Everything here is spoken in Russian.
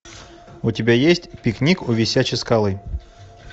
у тебя есть пикник у висячей скалы